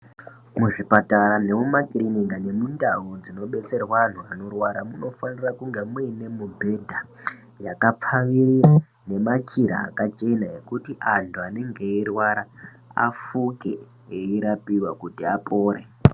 Muzvipatara nemumakariniki nemundau dzinobetserwa anhu anorwara munofanira kunge muine mubhedha yakapfawirira nemachira akachena antu anenge eirwara afunde eirapika kuti apore.